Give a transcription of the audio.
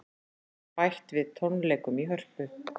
Bætt við tónleikum í Hörpu